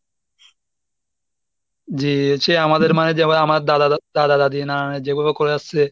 জি সে আমাদের মানে যে ভাবে আমার দাদা দাদি নানা যেভাবে করে আসছে,